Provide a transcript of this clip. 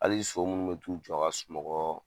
Hali sɔ minnu bɛ t'u jɔ ka sunɔgɔ,